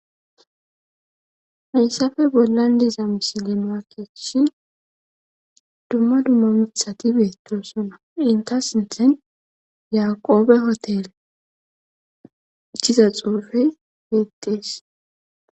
Hayssafe bollan diza mishile noakeechshi dumma dumma mithati beetto sona inta sinthen yaqoobe hotele ichiza xuufey beettees.